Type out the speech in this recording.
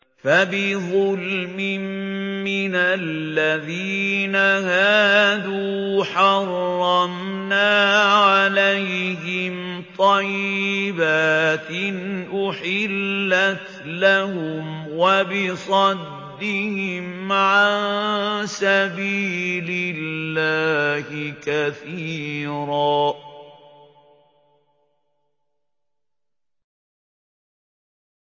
فَبِظُلْمٍ مِّنَ الَّذِينَ هَادُوا حَرَّمْنَا عَلَيْهِمْ طَيِّبَاتٍ أُحِلَّتْ لَهُمْ وَبِصَدِّهِمْ عَن سَبِيلِ اللَّهِ كَثِيرًا